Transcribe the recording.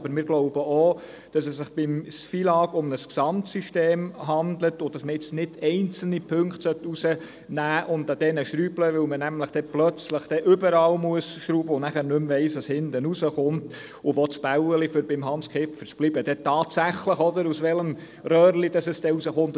Aber wir glauben auch, dass es sich beim FILAG um ein Gesamtsystem handelt und dass man nicht einzelne Punkten herausnehmen und an diesen schrauben sollte, weil man sonst plötzlich überall schrauben muss und nicht mehr weiss, was hinten herauskommt beziehungsweise, um beim Beispiel von Hans Kipfer zu bleiben, aus welchem Röhrchen das Bällchen dann tatsächlich herauskommt.